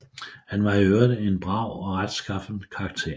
Han var i øvrigt en brav og retskaffen karakter